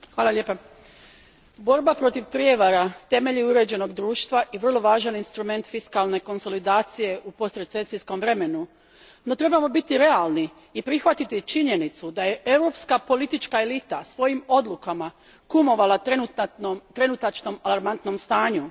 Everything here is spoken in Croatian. Gospodine predsjedniče, borba protiv prijevara temelj je uređenog društva i vrlo važan instrument fiskalne konsolidacije u postrecesijskom vremenu. No, trebamo biti realni i prihvatiti činjenicu da je europska politička elita svojim odlukama kumovala trenutačnom alarmantnom stanju.